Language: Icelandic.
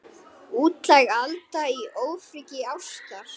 Útlæg Alda í ofríki ástar.